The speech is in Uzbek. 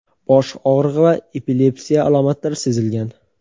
bosh og‘rig‘i va epilepsiya alomatlari sezilgan.